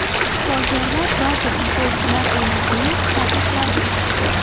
Shifokorlar ba’zi futbolchilar o‘ynashini taqiqladi.